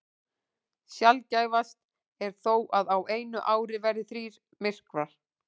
Sjaldgæfast er þó að á einu ári verði þrír myrkvar.